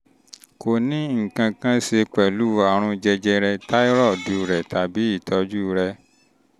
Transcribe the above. kò ní nǹkan ní nǹkan kan ṣe pẹ̀lú àrùn jẹjẹrẹ táírọ́ọ̀dù rẹ tàbí ìtọ́jú rẹ